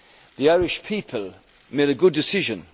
The Irish people made a good decision.